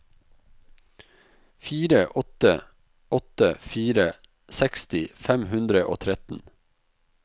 fire åtte åtte fire seksti fem hundre og tretten